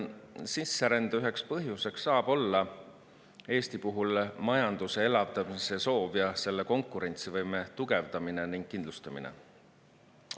Sisserände üheks põhjuseks saab olla Eesti puhul majanduse elavdamise soov ning selle konkurentsivõime tugevdamine ja kindlustamine.